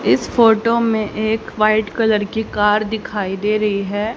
इस फोटो मे एक व्हाइट कलर की कार दिखाई दे रही है।